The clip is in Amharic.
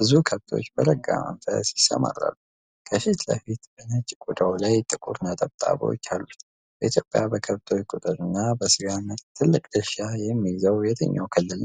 ብዙ ከብቶች በረጋ መንፈስ ይሰማራሉ። ከፊት ለፊት በነጭ ቆዳው ላይ ጥቁር ነጠብጣቦች አሉት ። በኢትዮጵያ በከብቶች ቁጥር እና በስጋ ምርት ትልቅ ድርሻ የሚይዘው የትኛው ክልል ነው?